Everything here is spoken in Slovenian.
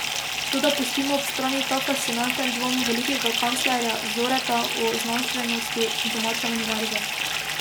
Toda pustimo ob strani ta fascinanten dvom velikega kanclerja Zoreta o znanstvenosti domače univerze.